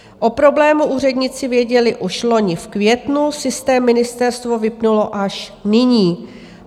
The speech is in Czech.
O problému úředníci věděli už loni v květnu, systém ministerstvo vypnulo až nyní.